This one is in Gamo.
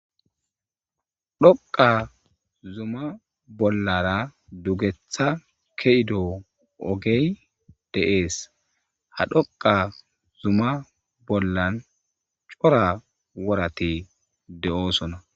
Dhoqa zuma bollara dugetha keyido ogge de7es ha dhoqa zuma bollan cora worati de7osona